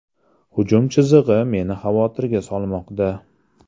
Hujum chizig‘i meni xavotirga solmoqda”.